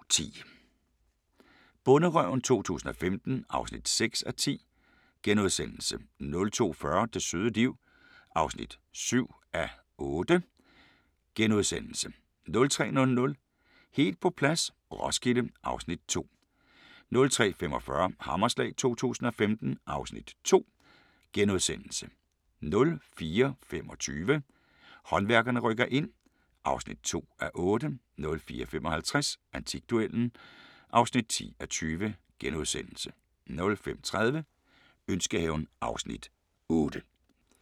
02:10: Bonderøven 2015 (6:10)* 02:40: Det søde liv (7:8)* 03:00: Helt på plads - Roskilde (Afs. 2) 03:45: Hammerslag 2015 (Afs. 2)* 04:25: Håndværkerne rykker ind (2:8) 04:55: Antikduellen (10:20)* 05:30: Ønskehaven (Afs. 8)